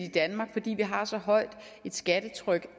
i danmark har så højt et skattetryk